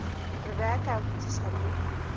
re ke a botšiša le